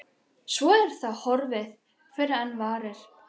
Svo er það horfið fyrr en varir.